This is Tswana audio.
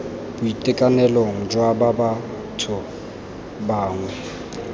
boitekanelong jwa ba batho bangwe